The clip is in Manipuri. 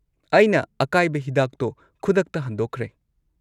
ꯑꯩꯅ ꯑꯀꯥꯏꯕ ꯍꯤꯗꯥꯛꯇꯣ ꯈꯨꯗꯛꯇ ꯍꯟꯗꯣꯛꯈ꯭ꯔꯦ꯫